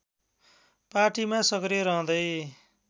पार्टीमा सक्रिय रहँदै